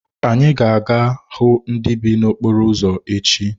Anyị ga-aga hụ ndị bi n’okporo ụzọ echi.